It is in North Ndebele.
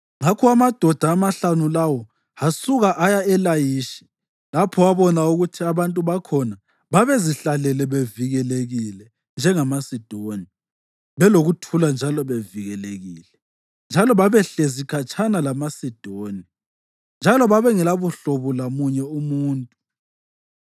Ngakho amadoda amahlanu lawo asuka aya eLayishi, lapho abona ukuthi abantu bakhona babezihlalele bevikelekile njengamaSidoni, belokuthula njalo bevikelekile. Njalo babehlezi khatshana lamaSidoni njalo bengelabuhlobo lomunye umuntu.